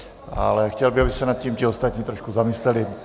Ale chtěl bych, aby se nad tím ti ostatní trošku zamysleli.